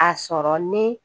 A sɔrɔ ne